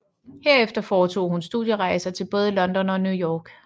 Herefter foretog hun studierejser til både London og New York